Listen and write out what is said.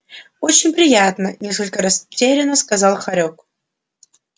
очень приятно несколько растерянно сказал хорёк